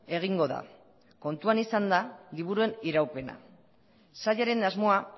egingo da kontuan izanda liburuen iraupena sailaren asmoa